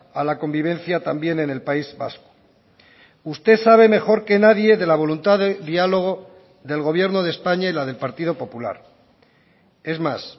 a la convivencia también en el país vasco usted sabe mejor que nadie de la voluntad de diálogo del gobierno de españa y la del partido popular es más